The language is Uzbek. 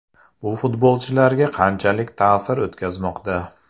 Bu futbolchilarga qanchalik ta’sir o‘tkazmoqda?